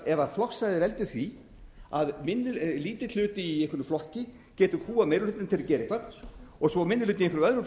ef flokksræðið veldur því að lítill hluti í einhverjum flokki getur kúgað meiri hlutann til að gera eitthvað svo minni hlutinn í öðrum